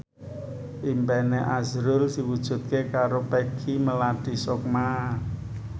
impine azrul diwujudke karo Peggy Melati Sukma